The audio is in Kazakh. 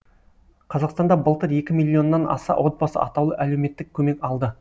қазақстанда былтыр екі миллионнан аса отбасы атаулы әлеуметтік көмек алды